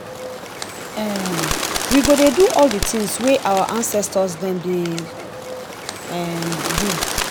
um we go dey do all di tins wey our ancestor dem dey um do.